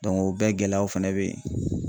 o bɛɛ gɛlɛyaw fɛnɛ beyen